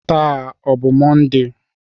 Taa ọ bụ Mọnde?